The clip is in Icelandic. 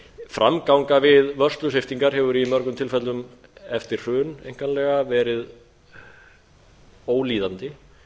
framganga við vörslusviptingar hefur í mörgum tilfellum eftir hrun einkanlega verið ólíðandi